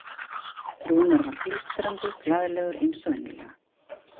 Rúnar var blístrandi glaðlegur eins og venjulega.